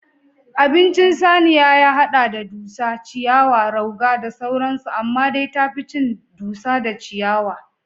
Abincin saniya ya haɗa da: dusa, ciyawa, rauga da sauran su amma dai tafi cin dusa da ciyawa